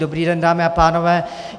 Dobrý den, dámy a pánové.